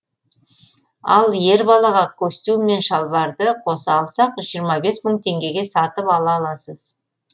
ал ер балаға костюм мен шалбарды қоса алсақ жиырма бес мың теңгеге сатып ала аласыз